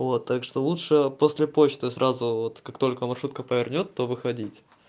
вот так что лучше после почты сразу вот как только маршрутка повернёт то выходить